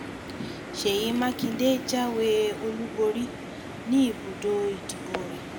ṣèyí mákindé jáwé olúborí níbùdó ìdìbò rẹ̀